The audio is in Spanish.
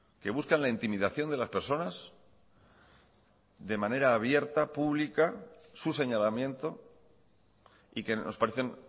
que buscan la intimidación de las personas de manera abierta pública su señalamiento y que nos parecen